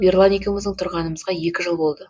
ерлан екеуміздің тұрғанымызға екі жыл болды